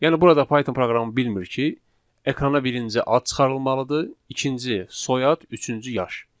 Yəni burada Python proqramı bilmir ki, ekrana birinci ad çıxarılmalıdır, ikinci soyad, üçüncü yaş.